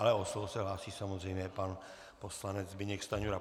Ale o slovo se hlásí samozřejmě pan poslanec Zbyněk Stanjura.